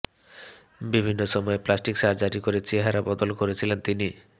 বিভিন্ন সময়ে plastic surgery করে চেহারা বদল করেছিলেন তিনি